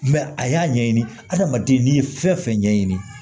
a y'a ɲɛɲini hadamaden n'i ye fɛn fɛn ɲɛɲini